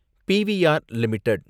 PVR limited